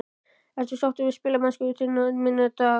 Ertu sáttur við spilamennsku þinna manna í dag?